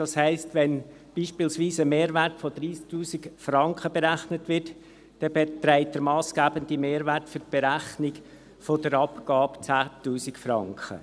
Das heisst, wenn beispielsweise ein Mehrwert von 30 000 Franken berechnet wird, dann beträgt der massgebende Mehrwert für die Berechnung der Abgabe 10 000 Franken.